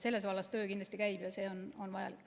Selles vallas töö käib ja see on vajalik.